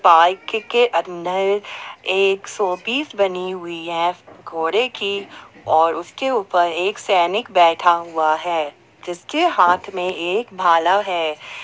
Park के अंदर एक शो पीस बनी हुई है घोड़े की और उसके ऊपर एक सैनिक बैठा हुआ है जिसके हाथ में एक भाला है।